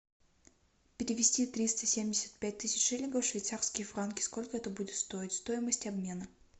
перевести триста семьдесят пять тысяч шиллингов в швейцарские франки сколько это будет стоить стоимость обмена